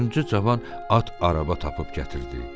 Dördüncü cavan at araba tapıb gətirdi.